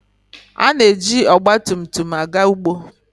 Ha na-eji ọgba tum tum aga ugbo.